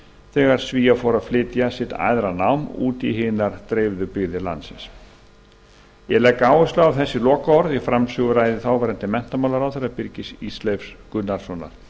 þegar svíar fóru að flytja sitt æðra nám út í hinar dreifðu byggðir landsins ég legg áherslu á lokaorð framsöguræðu þáverandi menntamálaráðherra birgis ísleifs gunnarssonar